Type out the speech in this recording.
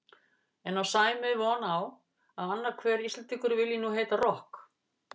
En á Sæmi von á að annar hver Íslendingur vilji nú heita rokk?